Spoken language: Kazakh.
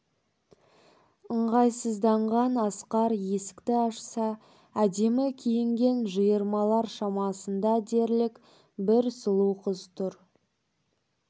ыңғайсызданған асқар есікті ашса әдемі киінген жиырмалар шамасында дерлік бір сұлу қыз тұр